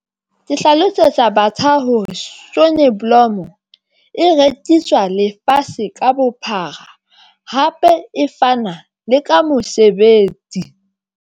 Ke hlalosetsa batjha hore sonneblom e rekiswa lefatshe ka bophara, hape e fana le ka mosebetsi.